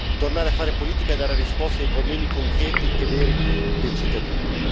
Tornare a fare politica e dare risposte ai problemi concreti e veri dei cittadini.